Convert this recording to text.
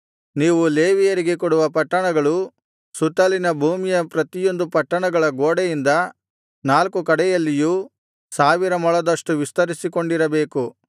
ನೀವು ಲೇವಿಯರಿಗೆ ಕೊಡುವ ಪಟ್ಟಣಗಳು ಸುತ್ತಲಿನ ಭೂಮಿಯ ಪ್ರತಿಯೊಂದು ಪಟ್ಟಣಗಳ ಗೋಡೆಯಿಂದ ನಾಲ್ಕು ಕಡೆಯಲ್ಲಿಯೂ ಸಾವಿರ ಮೊಳದಷ್ಟು ವಿಸ್ತರಿಸಿಕೊಂಡಿರಬೇಕು